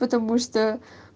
потому что